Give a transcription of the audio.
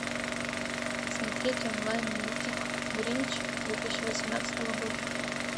смотреть онлайн мультик гринч две тысячи восемнадцатого года